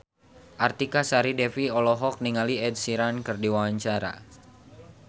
Artika Sari Devi olohok ningali Ed Sheeran keur diwawancara